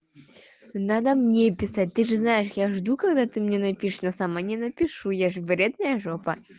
надо мне писать ты же знаешь я жду когда ты мне напишешь но сама не напишу я же вредная жопа